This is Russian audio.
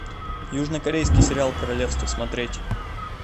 южнокорейский сериал королевство смотреть